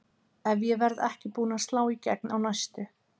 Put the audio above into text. Ef ég verð ekki búin að slá í gegn á næstu